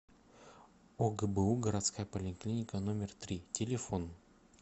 огбу городская поликлиника номер три телефон